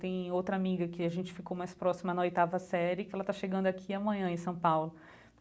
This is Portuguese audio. Tem outra amiga que a gente ficou mais próxima na oitava série, que ela está chegando aqui amanhã em São Paulo.